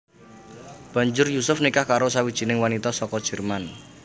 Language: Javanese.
Banjur Yusuf nikah karo sawijining wanita saka Jerman